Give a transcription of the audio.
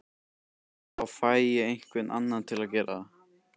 Þá fæ ég einhvern annan til að gera það